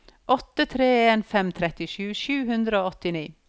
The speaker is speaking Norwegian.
åtte tre en fem trettisju sju hundre og åttini